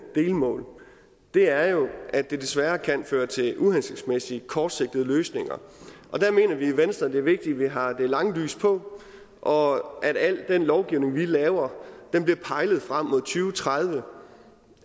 delmål er jo at det desværre kan føre til uhensigtsmæssige kortsigtede løsninger og der mener vi i venstre at det er vigtigt at vi har det lange lys på og at al den lovgivning vi laver bliver pejlet frem mod to tredive